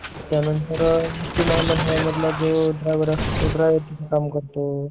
त्यानंतर एस.टी महामंडळ मधला जो ड्रायव्हर असतो तो ड्रायव्हर चे काम करतो